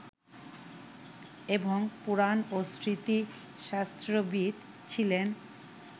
এবং পুরাণ ও স্মৃতিশাস্ত্রবিদ ছিলেন